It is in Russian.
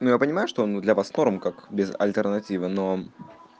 ну я понимаю что он для вас кворум как без альтернативы но